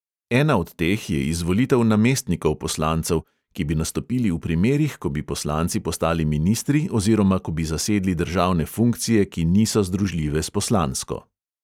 Ena od teh je izvolitev namestnikov poslancev, ki bi nastopili v primerih, ko bi poslanci postali ministri oziroma ko bi zasedli državne funkcije, ki niso združljive s poslansko.